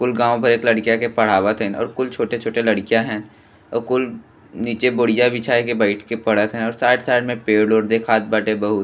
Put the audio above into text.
कुल गाव भर लड़िका के पढ़ावत हई और कुल छोटे -छोटे लड़ीका हैं और कुल नीचे बोरिया बिछा के बइठ के पढ़त हई और साइड साइड में पेड़-वोड़ दिखात बा बहुत।